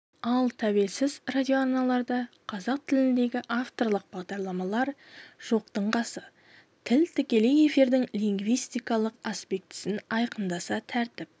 ал тәуелсіз радиоарналарда қазақ тіліндегі авторлық бағдарламалар жоқтың қасы тіл тікелей эфирдің лингвистикалық аспектісін айқындаса тәртіп